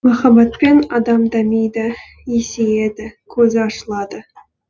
махаббатпен адам дамиды есейеді көзі ашылады